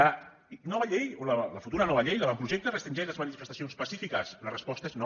la nova llei o la futura nova llei l’avantprojecte restringeix les manifestacions pacífiques la resposta és no